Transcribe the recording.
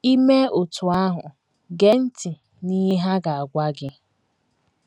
I mee otú ahụ, “ gee ntị ” n’ihe ha “ ga - agwa ” gị.